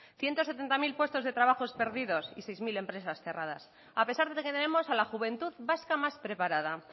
ciento setenta mil puestos de trabajos perdidos y seis mil empresas cerradas a pesar de que tenemos a la juventud vasca más preparada